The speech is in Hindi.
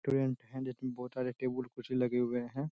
मे बोहोत सारे टेबल कुर्सी लगे हुए हैं।